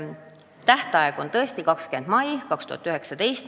Tähtaeg on tõesti 20. mai 2019.